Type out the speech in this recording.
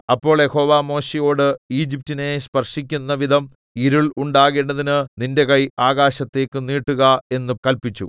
അപ്പോൾ യഹോവ മോശെയോട് ഈജിപ്റ്റിനെ സ്പർശിക്കുന്ന വിധം ഇരുൾ ഉണ്ടാകേണ്ടതിന് നിന്റെ കൈ ആകാശത്തേക്ക് നീട്ടുക എന്ന് കല്പിച്ചു